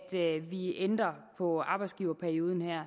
vi ændrer på arbejdsgiverperioden